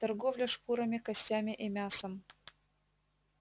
торговля шкурами костями и мясом